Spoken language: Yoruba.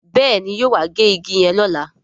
Béèni yóò wá gé ìgi yen lọla